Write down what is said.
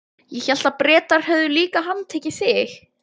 Ég hélt að Bretar hefðu líka handtekið þig?